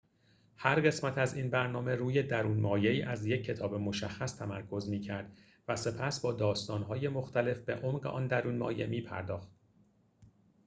هر قسمت از این برنامه روی درون‌مایه‌ای از یک کتاب مشخص تمرکز می‌کرد و سپس با داستان‌های مختلف به عمق آن درون‌مایه می‌پرداخت